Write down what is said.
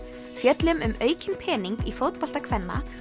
fjöllum um aukinn pening í fótbolta kvenna